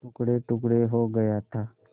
टुकड़ेटुकड़े हो गया था